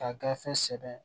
Ka gafe sɛbɛn